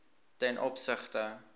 ten opsigte